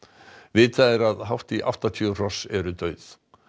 vitað er að hátt í áttatíu hross eru dauð